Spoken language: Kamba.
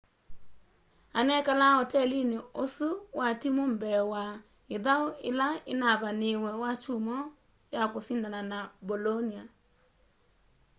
anekalaa otelini osu wa timu mbee wa ithau ila inavaniiwe wakyumwa ya kusindana na bolonia